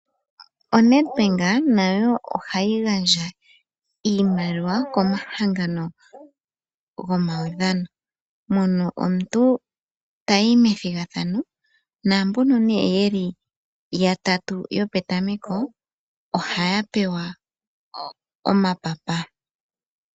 ONedbank nayo ohayi gandja iimaliwa komahangano gomaudhano , mono omuntu tayi methigathano , naambono yeli yatatu yopetameko ohaya pewa omapapa.